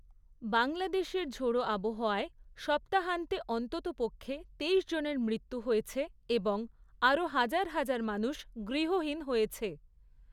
বাংলাদেশের ঝোড়ো আবহাওয়ায় সপ্তাহান্তে অন্ততপক্ষে তেইশ জনের মৃত্যু হয়েছে এবং আরও হাজার হাজার মানুষ গৃহহীন হয়েছে।